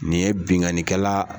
Nin ye bingannikɛla